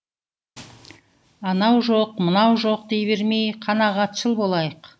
анау жоқ мынау жоқ дей бермей қанағатшыл болайық